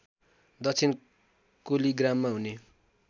दक्षिण कोलिग्राममा हुने